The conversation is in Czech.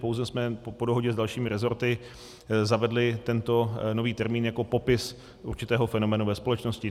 Pouze jsme po dohodě s dalšími rezorty zavedli tento nový termín jako popis určitého fenoménu ve společnosti.